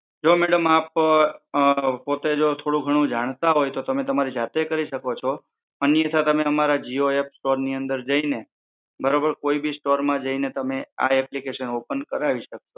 જો મેડમ આપ અમ પોતે જો થોડું ઘણું જાણતા હોય તો તમે તમારી જાતે કરી શકો છો. અન્યથા તમે અમારા જીઓ એપ સ્ટોર ની અંદર જઈને બરોબર કોઈ બી સ્ટોર માં જઈને તમે આ એપ્લિકેશન ઓપન કરાવિ શકો